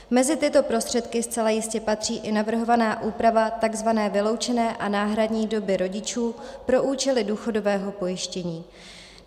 Mezi tyto prostředky zcela jistě patří i navrhovaná úprava tzv. vyloučené a náhradní doby rodičů pro účely důchodového pojištění.